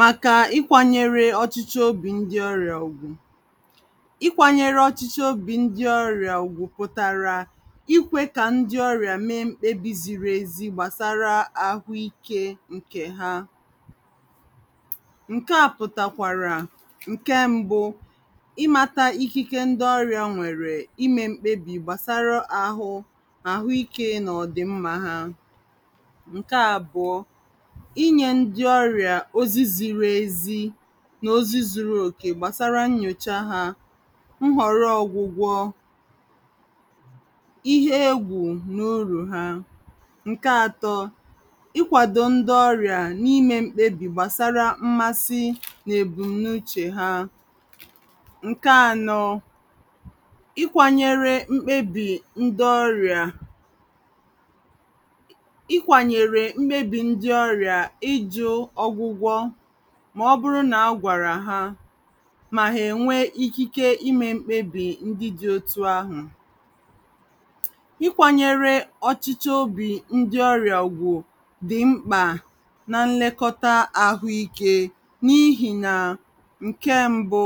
maka ịkwānyere ọ̀chịchọ obì ndi ọrịà ùgwù ịkwānyere ọ̀chichọ obì ndi ọrịà ùgwù pụ̀tàrà ikwē kà ndị ọrịà meē mkpebì ziri ezi gbàsara ahụ ikē ǹkè ha ŋ̀ké á pʊ̀tàkʷàrà ǹke mbụ̄ ịmātā ikike ndị ọrịà nwèrè imē mkpebì gbasàrà ahụ nà àhụ ikē nà òdì nma hā ǹke àbụ̀ọ inyē ndị ọrịà ozi siri ezi nà ozi zuru òkè gbàsara nnyòcha ha nhòro ogwugwo ihe ekwùrù na urù hā ǹke atọ ịkwàdò ndị ọrịà na imē mkpebì gbàsara nmasị nà èbùm na uchè ha ǹke anọ ịkwānyere mkpebì ndị̀ ọrịà ịkwànyèrè mkpebì ndị ọrịà ịjụ̄ ọgwụgwọ ma ọbụrụ nà agwàrà ha mà hà ènwee ikike imē mkpebì ndị dị̄ otu ahụ̀ ị́kwānyere ọ̀chịchọ obì ndi ọrịà ùgwù dị̀ mkpà na nlekọta àhụ ikē na ihì nà ǹke mbụ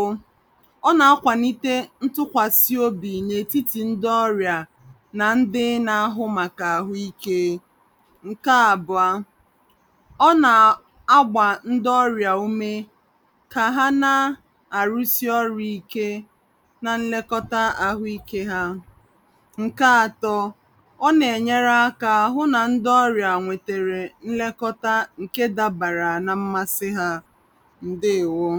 ọ na akwànite ntukwàsi obì nà ètitì ndị ọrịà na ndị nà ahụ màkà àhụ ikē ǹke àbụ̀ọ ọ nà agbà ndị ọrịà ume kà ha na àrusi ọrụ̄ ike na nlekọta ahụ ikē hā ńke atọ ọ na ènyere hụ nà ndị ọrịà wètèrè nlekọta ǹke dabàra na nmasị ha ǹdeewōō